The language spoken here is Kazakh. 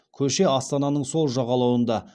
көше астананың сол жағалауында